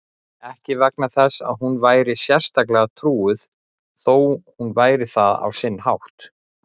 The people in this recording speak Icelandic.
Ekki vegna þess að hún væri sérstaklega trúuð, þó hún væri það á sinn hátt.